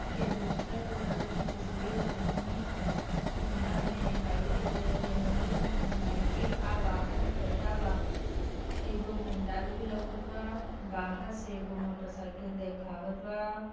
के भीतर इ तस्वीर देखनी ने मे लाइट एंजेल नाइके अवाहल परदावा एगो पंडाल भी लउकत बा बाहर एक मोटर सायकल देखावत बा |